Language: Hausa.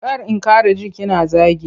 Kar in ƙara ji kina zagi.